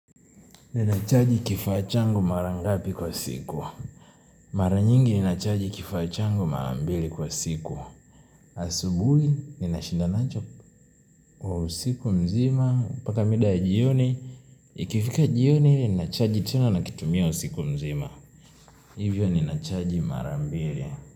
Ninachaji kifaa changu mara ngapi kwa siku. Mara nyingi ninachaji kifaa changu mara mbili kwa siku. Asubuhi ninashinda nacho kwa usiku mzima. Paka mida ya jioni Ikifika jioni ninachaji tena nikitumia usiku mzima. Hivyo ninachaji mara mbili.